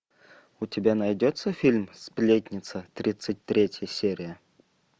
у тебя найдется фильм сплетница тридцать третья серия